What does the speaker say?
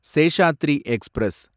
Seshadri express